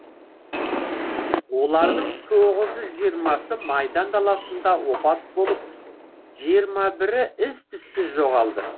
олардың тоғыз жүз жиырмасы майдан даласында опат болып жиырма бірі із түзсіз жоғалды